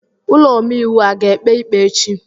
Ụlọ omeiwu a ga-ekpe ikpe echi?